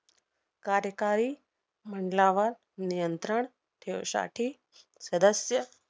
कार्यकारी मंडलावर नियंत्रण ठेवसाठी सदस्य